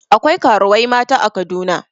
Akwai karuwai mata a Kaduna.